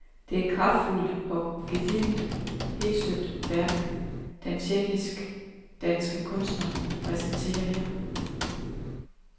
Det er et kraftfuldt og gedigent helstøbt værk den tjekkisk-danske kunstner præsenterer her.